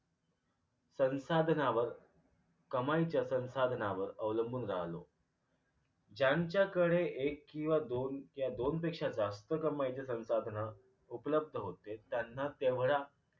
संसाधनांवर कमाईच्या संसाधनांवर अवलंबून राहलो ज्यांच्याकडे एक किंवा दोन या दोनपेक्षा जास्त कमाईचे संसाधन उपलब्ध होते त्यांना तेवढ्या